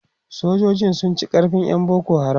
sojoji sun ci karfin ƴan boko haram